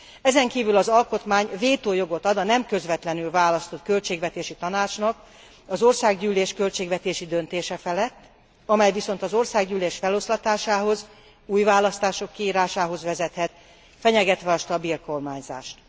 Ezenkívül az alkotmány vétójogot ad a nem közvetlenül választott Költségvetési Tanácsnak az Országgyűlés költségvetési döntése felett, amely viszont az Országgyűlés feloszlatásához, új választások kiírásához vezethet, fenyegetve a stabil kormányzást.